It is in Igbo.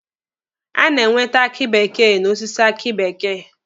A na-enwete aki bekee n'osisi aki bekee